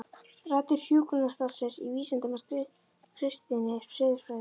Rætur hjúkrunarstarfsins í vísindum og kristinni siðfræði